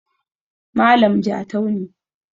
Malam jatau ne